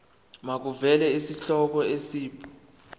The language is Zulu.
makuvele isihloko isib